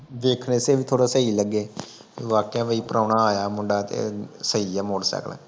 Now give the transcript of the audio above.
ਦੇਖਣ ਚ ਵੀ ਥੋੜ੍ਹਾ ਸਹੀ ਲੱਗੇ। ਵਾਕਿਆਂ ਵੀ ਪ੍ਰਾਹੁਣਾ ਆਇਆ ਮੁੰਡਾ ਤੇ ਸਹੀ ਆ ਮੋਟਰਸਾਈਕਲ